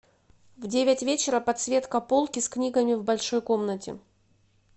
в девять вечера подсветка полки с книгами в большой комнате